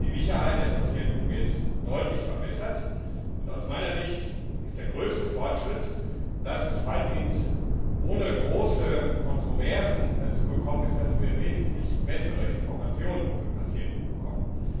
Die Sicherheit der Patienten wird deutlich verbessert, und aus meiner Sicht ist der größte Fortschritt, dass es weitgehend ohne große Kontroversen dazu gekommen ist, dass wir wesentlich bessere Informationen für Patienten bekommen.